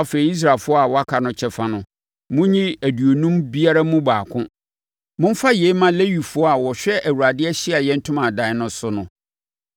Afei Israelfoɔ a wɔaka no kyɛfa no, monyi aduonum biara mu baako. Momfa yei mma Lewifoɔ a wɔhwɛ Awurade Ahyiaeɛ Ntomadan no so no.”